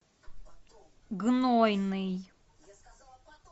гнойный